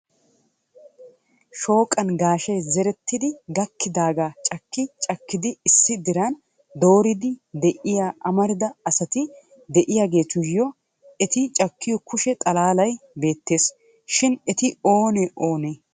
Shooqan gaashe zeretti gakkidaaga cakki cakkidi issi diran dooridi de'iyaa amarida asati de'iyaageetuyyo eti cakkiyo kushee xalaalay bettees. shin eti oone oonee?